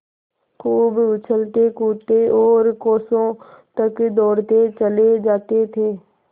खूब उछलतेकूदते और कोसों तक दौड़ते चले जाते थे